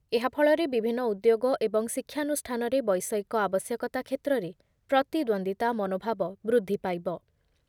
ଏହାଫଳରେ ବିଭିନ୍ନ ଉଦ୍ୟୋଗ ଏବଂ ଶିକ୍ଷାନୁଷ୍ଠାନରେ ବୈଷୟିକ ଆବଶ୍ୟକତା କ୍ଷେତ୍ରରେ ପ୍ରତିଦ୍ଵନ୍ଦିତା ମନୋଭାବ ବୃଦ୍ଧିପାଇବ ।